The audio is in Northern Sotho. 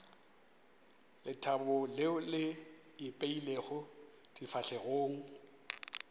lethabo leo le ipeilego difahlegong